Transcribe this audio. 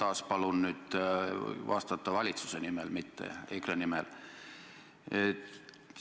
Ma taas palun vastata valitsuse nimel, mitte EKRE nimel.